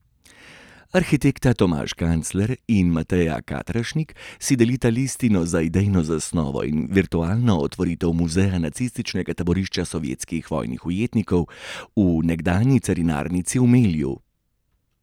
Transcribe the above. Arhitekta Tomaž Kancler in Mateja Katrašnik si delita listino za idejno zasnovo in virtualno otvoritev Muzeja nacističnega taborišča sovjetskih vojnih ujetnikov v nekdanji carinarnici v Melju.